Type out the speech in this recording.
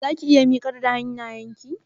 Zaki iya miƙar da hannayenki?